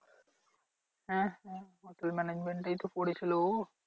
হ্যাঁ হ্যাঁ hotel management এই তো পড়েছিল ও।